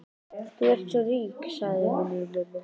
Þú ert svo rík, sagði hún við mömmu.